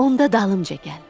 Onda dalımca gəl.